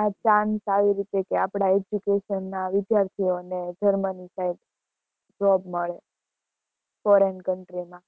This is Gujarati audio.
આ આપણા education ના વિદ્યાર્થીઓને જર્મની side job મળે, foreign country માં